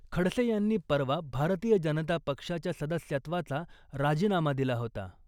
खडसे यांनी परवा भारतीय जनता पक्षाच्या सदस्यत्वाचा राजीनामा दिला होता .